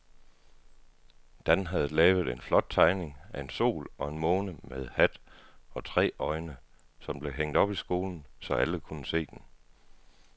Dan havde lavet en flot tegning af en sol og en måne med hat og tre øjne, som blev hængt op i skolen, så alle kunne se den.